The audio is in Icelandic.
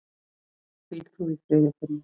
Hvíl þú í friði Finnur.